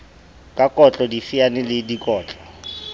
ka kotlo difaene le dikotlo